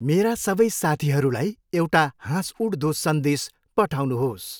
मेरा सबै साथीहरूलाई एउटा हाँसउठ्दो सन्देश पठाउनुहोस्।